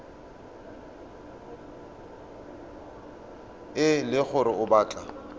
e le gore o batla